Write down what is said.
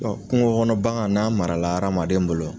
Bɔn kunko kɔnɔ bangan n'a mara adamaden bolo